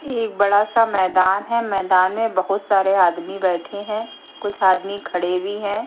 एक बड़ा सा मैदान है मैदान में बहुत सारे आदमी बैठे हैं कुछ आदमी खड़े भी हैं।